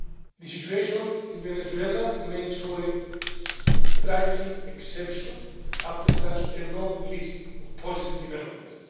The situation in Venezuela makes for a striking exception after such a long list of positive developments.